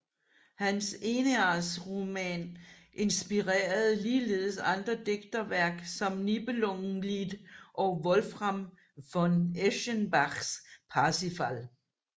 Hans Eneasroman inspirerede ligeledes andre digterværk som Nibelungenlied og Wolfram von Eschenbachs Parzival